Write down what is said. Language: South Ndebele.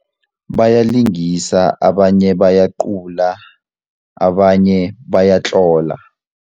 Bayalingisa abanye bayacula abanye bayatlola.